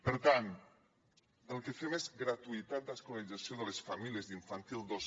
per tant el que fem és gratuïtat d’escolarització de les famílies d’infantil dos